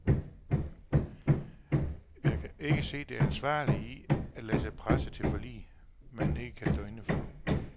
Jeg kan ikke se det ansvarlige i, at lade sig presse til forlig, man ikke kan stå inde for.